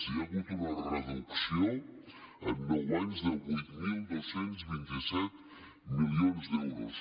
hi ha hagut una reducció en nou anys de vuit mil dos cents i vint set milions d’euros